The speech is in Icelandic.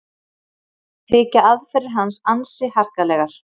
Þykja aðferðir hans ansi harkalegar